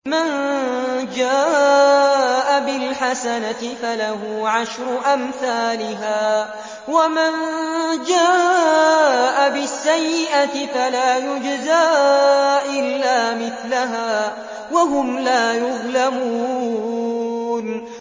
مَن جَاءَ بِالْحَسَنَةِ فَلَهُ عَشْرُ أَمْثَالِهَا ۖ وَمَن جَاءَ بِالسَّيِّئَةِ فَلَا يُجْزَىٰ إِلَّا مِثْلَهَا وَهُمْ لَا يُظْلَمُونَ